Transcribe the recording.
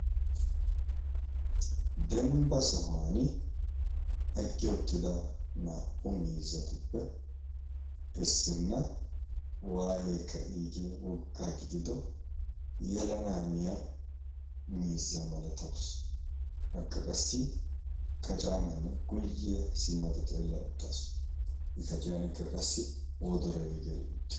dembba sohuwan eqqi uttida naa'u miizzatuppe essinna waayekka iigee woggaa gidido yelanaaniya miizza malatawus akka qassi kacaamanne guyye simmado xeella uttaasu i kaciyankka qassi wodora iigeeli uttis